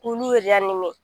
K'ulu